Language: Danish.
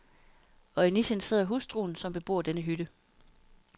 Og i nichen sidder hustruen, som bebor denne hytte.